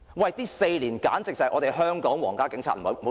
這4年簡直是香港皇家警察......